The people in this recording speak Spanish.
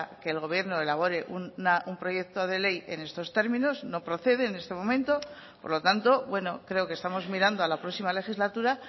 que el gobierno elabore un proyecto de ley en estos términos no procede en este momento por lo tanto bueno creo que estamos mirando a la próxima legislatura